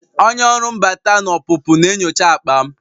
Onye ọrụ mbata na ọpụpụ na-enyocha akpa m